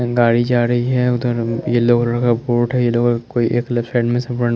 गाडी जा रही हैं उधर येल्लो कलर का बोर्ड हैं येलो कलर का कोई एक लेफ्ट साइड में सप्ड़ना--